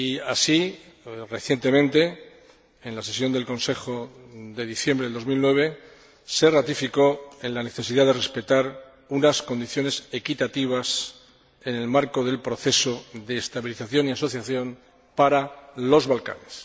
Así, recientemente, en la sesión del Consejo de diciembre de 2009, se ratificó en la necesidad de respetar unas condiciones equitativas, en el marco del proceso de estabilización y asociación para los Balcanes.